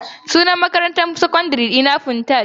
Sunan makarantar sakandare dina Funtaj.